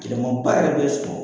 Gɛlɛmanba yɛrɛ be sɔrɔ